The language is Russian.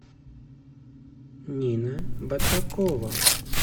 нина батракова